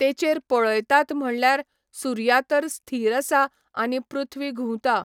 तेचेर पळयतात म्हणल्यार सुर्या तर स्थिर आसा आनी पृथ्वी घुंवता.